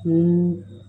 Ko